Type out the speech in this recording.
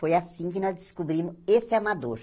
Foi assim que nós descobrimos esse amador.